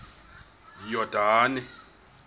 yordane